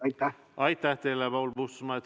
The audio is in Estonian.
Aitäh teile, Paul Puustusmaa!